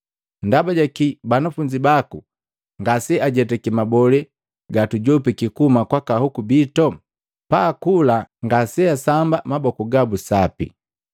“Ndabajaki banafunzi baku ngase ajetake mabolee gatujopiki kuhuma kwaka hoku bito? Paakula ngaseasamba maboku gabu sapi!”